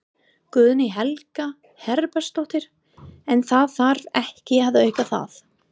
Guðný Helga Herbertsdóttir: En það þarf ekki að auka það?